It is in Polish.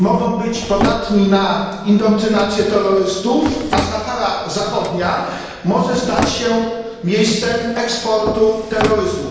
Mogą być podatni na indoktrynację terrorystów, a Sahara Zachodnia może stać się miejscem eksportu terroryzmu.